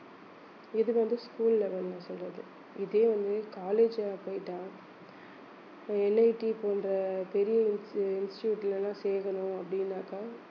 இது வந்து school level ல நான் சொல்றது இதே வந்து college ல போயிட்டா NIT போன்ற பெரிய ins~ institute ல எல்லாம் சேக்கணும் அப்படின்னாக்கா